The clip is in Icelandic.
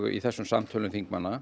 í þessum samtölum þingmanna